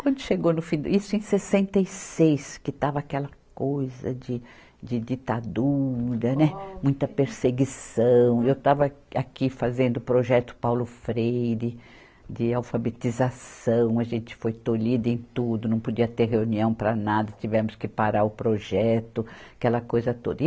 Quando chegou no fim, isso, em sessenta e seis, que estava aquela coisa de, de ditadura, né, muita perseguição, eu estava aqui fazendo o projeto Paulo Freire de alfabetização, a gente foi tolhida em tudo, não podia ter reunião para nada, tivemos que parar o projeto, aquela coisa toda.